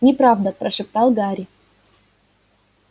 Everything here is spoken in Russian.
неправда прошептал гарри